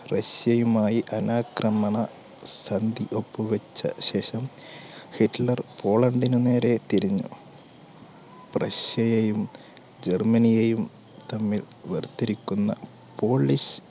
റഷ്യയുമായി അനാക്രമണ സന്ധി ഒപ്പുവെച്ച ശേഷം ഹിറ്റ്ലർ പോളണ്ടിന് നേരെ തിരിഞ്ഞു. റഷ്യയെയും ജർമ്മനിയെയും തമ്മിൽ വേർതിരിക്കുന്ന polish